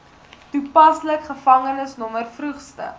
toepaslik gevangenisnommer vroegste